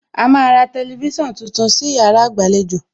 A máa ra ọ̀wọ́ tẹlifísàn tuntun sí yàrá ìgbàlejò